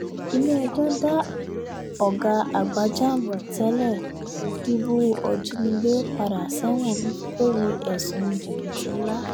ilé-ẹjọ́ dá ọ̀gá àgbà jamb tẹ́lẹ̀ díbú òjínigbé padà sẹ́wọ̀n lórí ẹ̀sùn jìbìtì ńlá